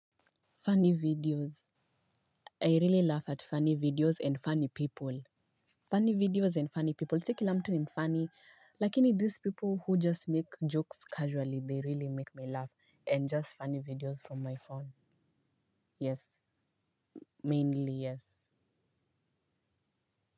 Funny videos. I really laugh at funny videos and funny people. Funny videos and funny people. Si kila mtu ni mfunny. Lakini these people who just make jokes casually they really make me laugh and just funny videos from my phone. Yes. Mainly yes.